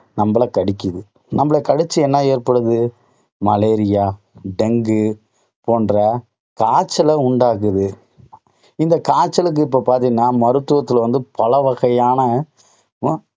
நம்மளைக் கடிக்குது. நம்மளை கடிச்சு என்னா ஏற்படுது? மலேரியா டெங்கு போன்ற காய்ச்சல உண்டாக்குது. இந்த காய்ச்சலுக்கு இப்போ பார்த்தீங்கன்னா மருத்துவத்தில வந்து பல வகையான